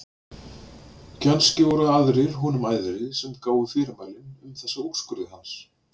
Kannski voru það aðrir honum æðri sem gáfu fyrirmælin um þessa úrskurði hans.